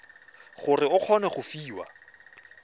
gore o kgone go fiwa